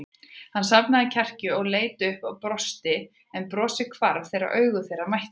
Hann safnaði kjarki, leit upp og brosti en brosið hvarf þegar augu þeirra mættust.